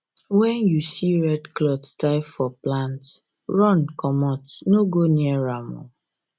when you when you see red cloth tie for plant run comot no go near am